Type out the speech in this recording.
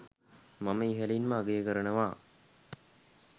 මම ඉහලින්ම අගය කරනවා